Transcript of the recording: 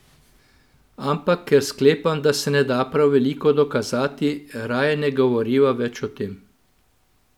Ampak ker sklepam, da se ne da prav veliko dokazati, raje ne govoriva več o tem.